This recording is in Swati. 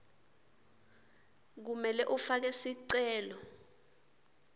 kumele ufake sicelo